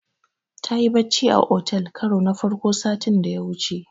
Tayi bacci a otel karo na farko sati da ya wuce.